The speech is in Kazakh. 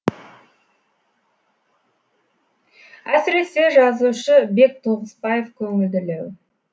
әсіресе жазушы бек тоғысбаев көңілділеу